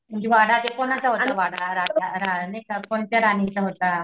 म्हणजेवाडा ते कोणाचा होता तो वाडा? राजा रा नाहीका कोणत्या राणीचा होता?